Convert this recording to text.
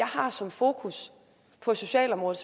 har som fokus på socialområdet